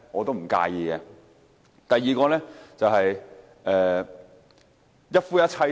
第二點，是關於一夫一妻制。